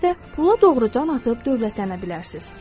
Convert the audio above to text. Siz də pula doğru can atıb dövlətlənə bilərsiniz.